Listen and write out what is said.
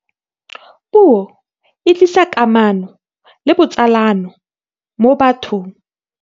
Puo e tlisa kamano le botsalano mo bathong.